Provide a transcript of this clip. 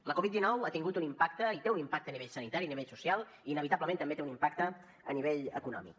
la covid dinou ha tingut un impacte i té un impacte a nivell sanitari a nivell social i inevitablement també té un impacte a nivell econòmic